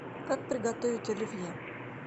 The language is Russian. как приготовить оливье